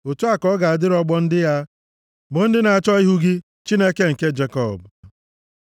Otu a ka ọ ga-adịrị ọgbọ ndị ya, bụ ndị na-achọ ihu gị, Chineke nke Jekọb. Sela